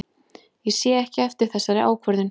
Ég sé ekki eftir þessari ákvörðun.